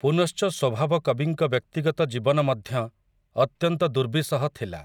ପୁନଶ୍ଚ ସ୍ୱଭାବ କବିଙ୍କ ବ୍ୟକ୍ତିଗତ ଜୀବନ ମଧ୍ୟ, ଅତ୍ୟନ୍ତ ଦୁର୍ବିସହ ଥିଲା ।